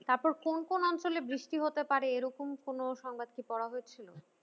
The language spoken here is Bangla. তারপর কোন কোন অঞ্চলে বৃষ্টি হতে পারে এরকম কোন সংবাদ কি পড়া হয়েছিল?